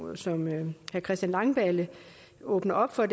som herre christian langballe åbner op for